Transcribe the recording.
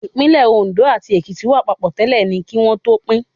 Ìpínlẹ̀ Òndó àti Èkìtì wà papọ̀ tẹ́lẹ̀ ni kí wọ́n tó pín